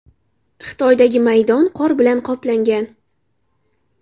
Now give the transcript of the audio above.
Xitoydagi maydon qor bilan qoplangan.